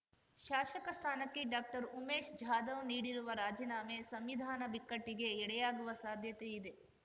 ಶಾಸಕ ಸ್ಥಾನಕ್ಕೆ ಡಾಕ್ಟರ್ ಉಮೇಶ್ ಜಾಧವ್ ನೀಡಿರುವ ರಾಜೀನಾಮೆ ಸಂವಿಧಾನ ಬಿಕ್ಕಟ್ಟಿಗೆ ಎಡೆಯಾಗುವ ಸಾಧ್ಯತೆ ಇದೆ